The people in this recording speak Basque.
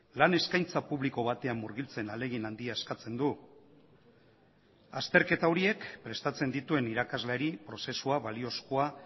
lan eskaintza publiko batean murgiltzen ahalegin handia eskatzen du azterketa horiek prestatzen dituen irakasleari prozesua baliozkoa